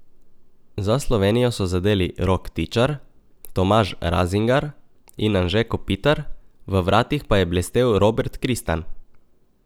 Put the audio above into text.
Za Slovenijo so zadeli Rok Tičar, Tomaž Razingar in Anže Kopitar, v vratih pa je blestel Robert Kristan.